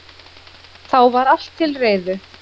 Þá var allt til reiðu